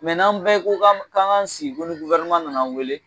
n'an bɛɛ ko k'an k'an sigi ko ni nana an wele